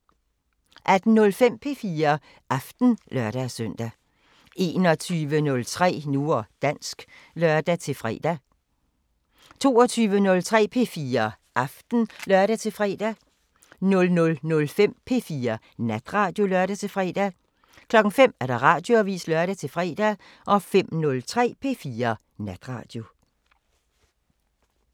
18:05: P4 Aften (lør-søn) 21:03: Nu og dansk (lør-fre) 22:03: P4 Aften (lør-fre) 00:05: P4 Natradio (lør-fre) 05:00: Radioavisen (lør-fre) 05:03: P4 Natradio